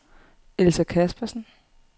Elsa Caspersen